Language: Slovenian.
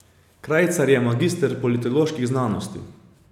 Krajcar je magister politoloških znanosti.